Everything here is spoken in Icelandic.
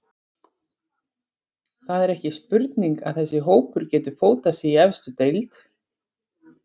Það er ekki spurning að þessi hópur getur fótað sig í efstu deild.